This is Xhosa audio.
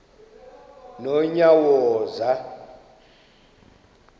nonyawoza